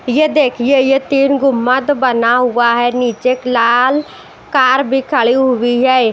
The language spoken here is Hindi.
ये देखिए ये तीन गुम्मद बना हुआ है नीचे लाल कार भी खड़ी हुई है --